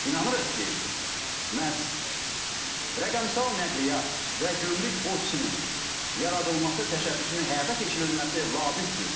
İnanırıq ki, məhz rəqəmsal nəqliyyat və gömrük ofisinin yaradılması təşəbbüsünün həyata keçirilməsi labüddür.